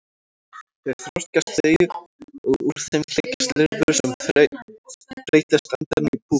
Þar þroskast þau og úr þeim klekjast lirfur sem breytast á endanum í púpur.